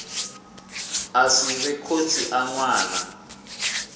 a sivhe khotsi a ṅwana